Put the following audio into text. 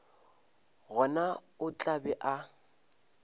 gona o tla be a